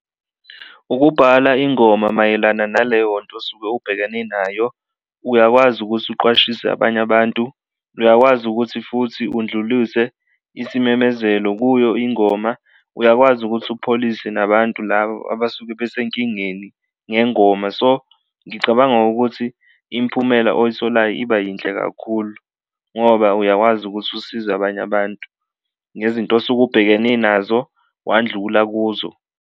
Ukubhala ingoma mayelana naleyo nto osuke ubhekene nayo, uyakwazi ukuthi uqwashiswe abanye abantu, uyakwazi ukuthi futhi undluluse isimemezelo kuyo ingoma, uyakwazi ukuthi upholise nabantu labo abasuke besenkingeni ngengoma. So, ngicabanga ukuthi imphumela oyitholayo iba yinhle kakhulu ngoba uyakwazi ukuthi usize abanye abantu ngezinto osuke ubhekene nazo, wandlula kuzo.